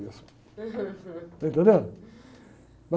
mesmo. Está entendendo?